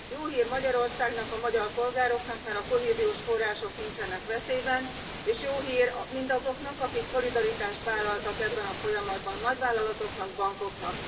Jó hír Magyarországnak, a magyar polgároknak, mert a kohéziós források nincsenek veszélyben, és jó hír mindazoknak, akik szolidaritást vállaltak ebben a folyamatban nagyvállalatoknak, bankoknak.